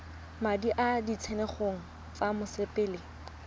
madi a ditshenyegelo tsa mosepele